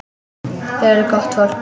Þau eru gott fólk.